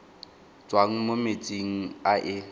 tswang mo metsing a e